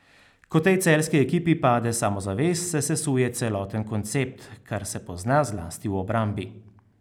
Ko tej celjski ekipi pade samozavest, se sesuje celoten koncept, kar se pozna zlasti v obrambi.